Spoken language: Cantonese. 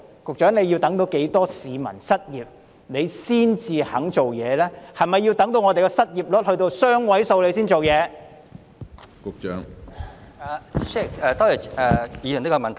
局長，你要等到多少市民失業才願意推行計劃，是否要等到失業率雙位數時才肯採取行動？